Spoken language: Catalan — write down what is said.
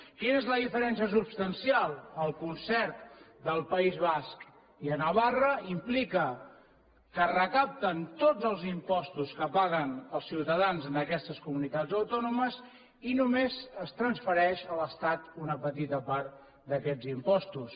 quina és la diferencia substancial el concert del país basc i de navarra implica que recapten tots els impostos que paguen els ciutadans en aquestes comunitats autònomes i només es transfereix a l’estat una petita part d’aquests impostos